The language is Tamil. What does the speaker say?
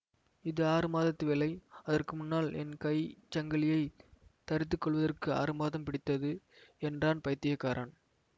இது ஆறு மாதத்து வேலை அதற்கு முன்னால் என் கை சங்கிலியைத் தறித்துக்கொள்வதற்கு ஆறு மாதம் பிடித்தது என்றான் பைத்தியக்காரன்